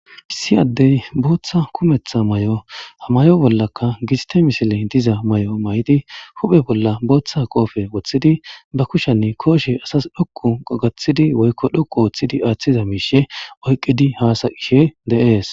Issi ade botha kumetha mayo mayidi ha mayo bolaka giste misile diza mayo mayidi huphe bolla botha qophe wotidi bakuni koshe asasi dhoqu otidi woyiko dhoqu giza mishe oyikidi hasayishe de,ees